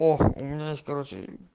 ох у меня есть короче